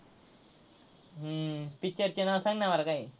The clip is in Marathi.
हम्म picture चे नाव सांग ना मला काय आहे?